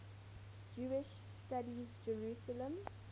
jewish studies jerusalem